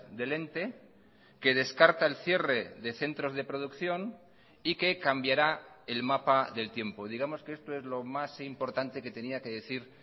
del ente que descarta el cierre de centros de producción y que cambiará el mapa del tiempo digamos que esto es lo más importante que tenía que decir